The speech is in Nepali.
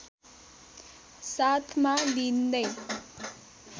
साथमा लिँदै